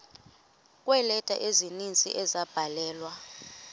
kweeleta ezininzi ezabhalelwa